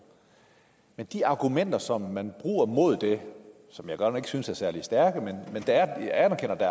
men de argumenter som man bruger mod det som jeg godt nok ikke synes er særlig stærke men jeg anerkender at